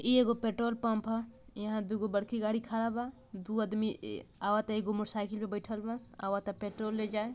इ एगो petrol pump हअ यहां दु गो बड़की गाड़ी खड़ा बा दू आदमी इ आवाता एगो मोटर साइकिल पर बैठल बा आवाता पेट्रोल ले जाए।